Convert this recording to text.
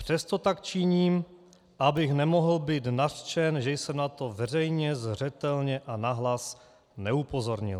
Přesto tak činím, abych nemohl být nařčen, že jsem na to veřejně, zřetelně a nahlas neupozornil.